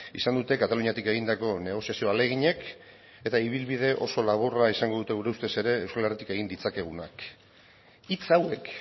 izan dute kataluniatik egindako negoziazio ahaleginek eta ibilbide oso laburra izango dute gure ustez ere euskal herritik egin ditzakegunak hitz hauek